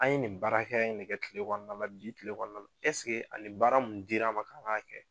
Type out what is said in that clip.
An ye nin baara hakɛya in de kɛ kile kɔnɔna na, bi kile kɔnɔna na. a ni baara uUn dira an ma k'an ka kɛ